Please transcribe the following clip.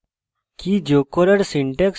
কী যোগ করার